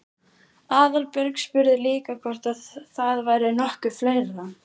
Aðalbjörg spurði líka hvort það væri nokkuð fleira?